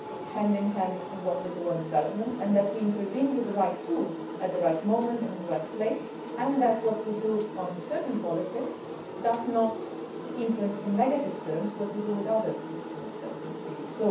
hand in hand with what we do in development, and that we intervene with the right tool at the right moment and in the right place, and that what we do on certain policies does not influence in negative terms what we do with other instruments that we use.